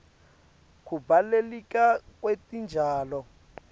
kubaluleka kwetitjalo